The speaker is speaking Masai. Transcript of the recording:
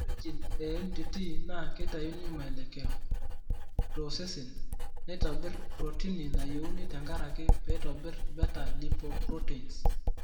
Ore gene e MTTP naa keitayu maelekeo to osesen naitobir protini nayiouni tenkaraki peetabir beta lipoproteins.